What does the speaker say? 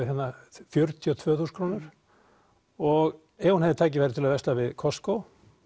fjörutíu og tvö þúsund krónur og ef hún hefði tækifæri til að versla við Costco